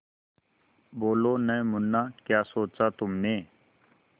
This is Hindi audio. बोलो न मुन्ना क्या सोचा तुमने